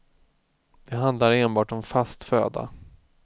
Det handlar enbart om fast föda.